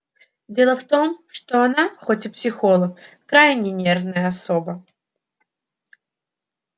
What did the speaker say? дело в том что она хоть и психолог крайне нервная особа